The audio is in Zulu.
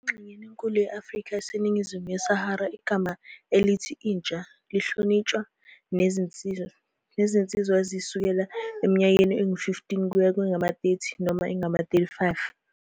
Engxenyeni enkulu ye-Afrika eseningizimu yeSahara, igama elithi "intsha" lihlotshaniswa nezinsizwa ezisukela eminyakeni engu-15 kuya kwengama-30 noma engama-35.